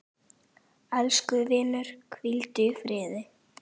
Elsku vinur, hvíldu í friði.